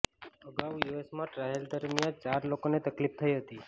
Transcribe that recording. અગાઉ યુએસમાં ટ્રાયલ દરમિયાન ચાર લોકોને તકલીફ થઈ હતી